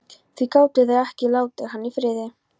Því gátu þeir ekki látið hann í friði?